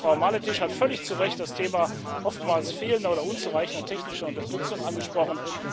Frau Maletić hat völlig zu Recht das Thema oftmals fehlender oder unzureichender technischer Unterstützung angesprochen.